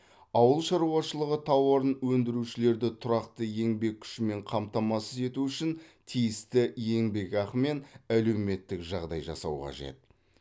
ауыл шаруашылығы тауарын өндірушілерді тұрақты еңбек күшімен қамтамасыз ету үшін тиісті еңбекақы мен әлеуметтік жағдай жасау қажет